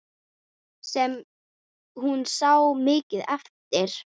Sem hún sá mikið eftir.